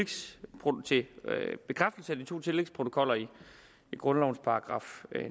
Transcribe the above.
bekræftelse af de to tillægsprotokoller i grundlovens §